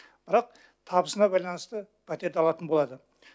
бірақ табысына байланысты пәтерді алатын болады